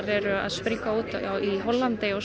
eru að springa út í Hollandi og